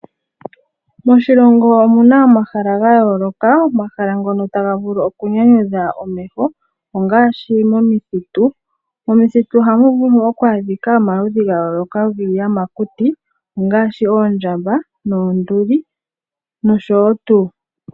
Moshilongo omuna omahala ga yooloka, omahala ngono taga vulu oku nyanyudha omeho ongaashi momithitu. Momithitu ohamu vulu oku adhika omaludhi ga yooloka giiyamakuti ngaashi oondjamba noonduli noshotuu.